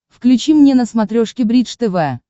включи мне на смотрешке бридж тв